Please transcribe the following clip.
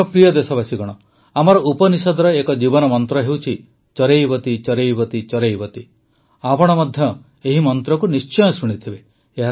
ମୋର ପ୍ରିୟ ଦେଶବାସୀଗଣ ଆମର ଉପନିଷଦର ଏକ ଜୀବନମନ୍ତ୍ର ହେଉଛି ଚରୈବେତିଚରୈବେତିଚରୈବେତି ଆପଣ ମଧ୍ୟ ଏହି ମନ୍ତ୍ରକୁ ନିଶ୍ଚୟ ଶୁଣିଥିବେ